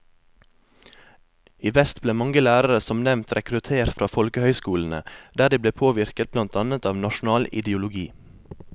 I vest ble mange lærere som nevnt rekruttert fra folkehøyskolene, der de ble påvirket blant annet av nasjonal ideologi.